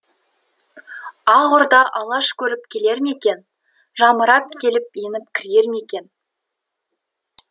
ақ орда алаш көріп келер ме екен жамырап келіп еніп кірер ме екен